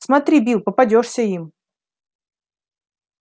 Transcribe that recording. смотри билл попадёшься им